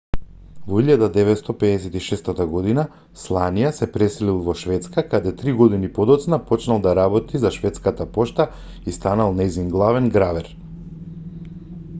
во 1956 година сланија се преселил во шведска каде три години подоцна почнал да работи за шведската пошта и станал нејзин главен гравер